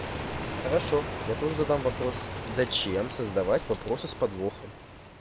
хорошо я тоже задам вопрос зачем создавать вопросы с подвохом